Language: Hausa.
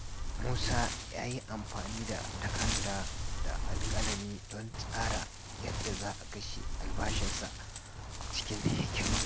Musa ya yi amfani da takarda da alkalami don tsara yadda za a kashe albashinsa cikin hikima.